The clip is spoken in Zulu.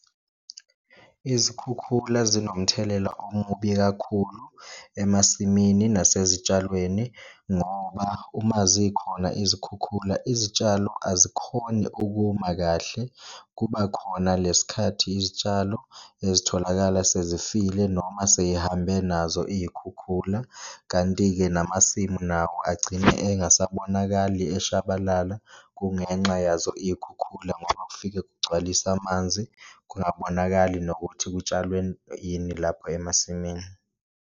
Izikhukhula zinomthelela omubi kakhulu emasimini nasezitshalweni ngoba uma zikhona izikhukhula izitshalo azikhoni ukuma kahle, kuba khona le sikhathi izitshalo ezitholakala sezifile noma seyihambe nazo iy'khukhula. Kanti-ke, namasimu nawo agcine engasabonakali eshabalala kungenxa yazo iy'khukhula ngoba kufike kugcwalise amanzi, kungabonakali nokuthi kutshalwe ini lapho emasimini.